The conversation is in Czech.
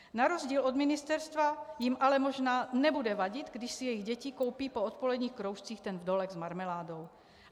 Na rozdíl od ministerstva jim ale možná nebude vadit, když si jejich děti koupí po odpoledních kroužcích ten vdolek s marmeládou.